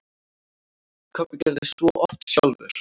Kobbi gerði svo oft sjálfur.